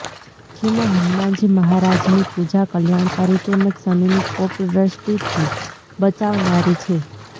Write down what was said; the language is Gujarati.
જેમાં હનુમાનજી મહારાજની પૂજા કલ્યાણકારી તેમજ શનિની કોપ દ્રષ્ટિથી બચાવનારી છે